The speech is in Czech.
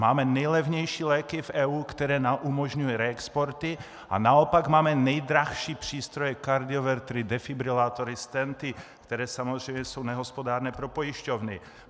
Máme nejlevnější léky v EU, které nám umožňují reexporty, a naopak máme nejdražší přístroje kardiovertery, defibrilátory, stenty, které samozřejmě jsou nehospodárné pro pojišťovny.